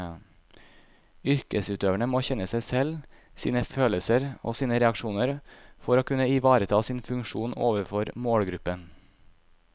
Yrkesutøverne må kjenne seg selv, sine følelser og sine reaksjoner for å kunne ivareta sin funksjon overfor målgruppen.